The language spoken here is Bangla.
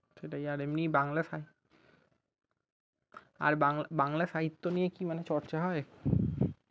সেটাই আর এমনি বাংলা সাই আর বাং বাংলা সাহিত্য নিয়ে মানে চর্চা হয়?